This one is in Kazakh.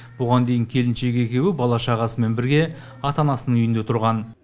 бұған дейін келіншегі екеуі бала шағасымен бірге ата анасының үйінде тұрған